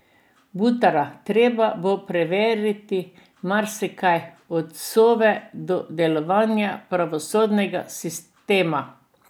Butara: 'Treba bo prevetriti marsikaj, od Sove do delovanja pravosodnega sistema.